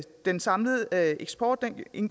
den samlede eksport